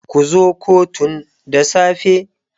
Ku zo kotun da safe.